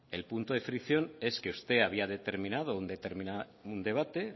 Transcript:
el punto de fricción es que usted había determinado un debate